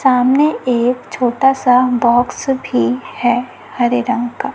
सामने एक छोटा सा बॉक्स भी है हरे रंग का--